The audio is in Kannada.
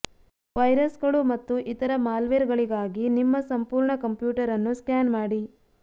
ವೈರಸ್ಗಳು ಮತ್ತು ಇತರ ಮಾಲ್ವೇರ್ಗಳಿಗಾಗಿ ನಿಮ್ಮ ಸಂಪೂರ್ಣ ಕಂಪ್ಯೂಟರ್ ಅನ್ನು ಸ್ಕ್ಯಾನ್ ಮಾಡಿ